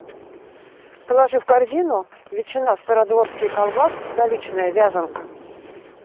положи в корзину ветчина стародворские колбасы столичная вязанка